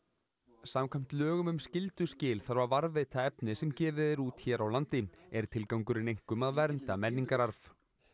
samkvæmt lögum um skylduskil þarf að varðveita efni sem gefið er út hér á landi er tilgangurinn einkum að vernda menningararf